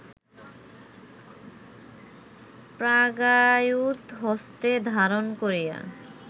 প্রাগায়ুধ হস্তে ধারণ করিয়া